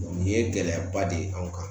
nin ye gɛlɛyaba de ye anw kan